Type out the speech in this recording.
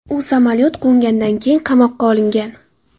U samolyot qo‘ngandan keyin qamoqqa olingan.